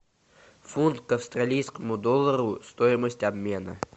фунт к австралийскому доллару стоимость обмена